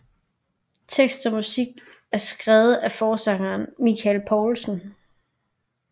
Tekst og musik er skrevet af forsangeren Michael Poulsen